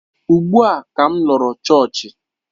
Ugbu a ka m lọrọ chọọchị